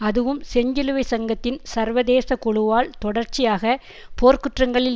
அதுவும் செஞ்சிலுவை சங்கத்தின் சர்வதேச குழுவால் தொடர்ச்சியாக போர்க்குற்றங்களில்